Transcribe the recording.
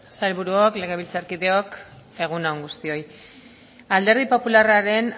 sailburuok legebiltzarkideok egun on guztioi alderdi popularraren